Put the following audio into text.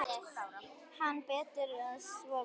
Hann: Betur að svo væri.